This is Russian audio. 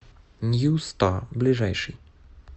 нью стар ближайший